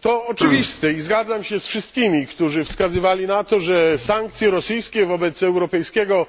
To oczywiste, i zgadzam się z wszystkimi, którzy wskazywali na to, że sankcje rosyjskie wobec europejskiego